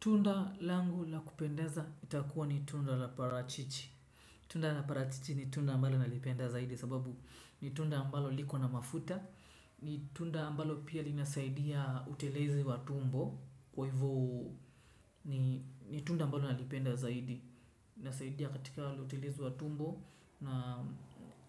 Tunda langu la kupendeza itakuwa ni tunda la parachichi. Tunda la parachichi ni tunda ambalo nalipenda zaidi sababu ni tunda ambalo liko na mafuta ni tunda ambalo pia linasaidia utelezi wa tumbo kwa hivyo ni tunda ambalo nalipenda zaidi inasaidia katika utelezi wa tumbo na